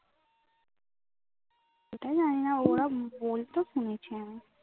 এটাও জানিনা ওরা বলতে শুনেছি আমি